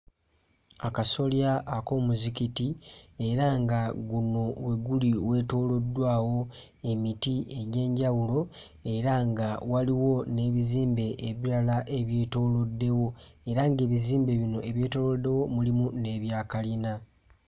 Akasolya ak'omuzikiti era nga guno we guli weetooloddwawo emiti egy'enjawulo era nga waliwo n'ebizimbe ebirala ebyetooloddewo era nga ebizimbe bino ebyetooloddewo mulimu n'ebya kalina.